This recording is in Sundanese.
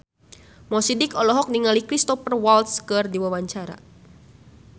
Mo Sidik olohok ningali Cristhoper Waltz keur diwawancara